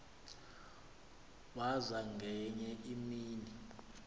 waza ngenye imini